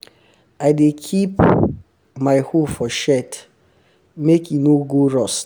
i dey keep um my hoe for shed make e no um go rust